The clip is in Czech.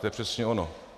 To je přesně ono.